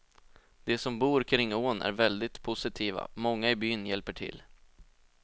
De som bor kring ån är väldigt positiva, många i byn hjälper till.